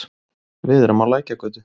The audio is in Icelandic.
Við erum á Lækjargötu.